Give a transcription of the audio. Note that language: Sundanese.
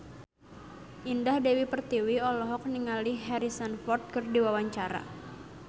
Indah Dewi Pertiwi olohok ningali Harrison Ford keur diwawancara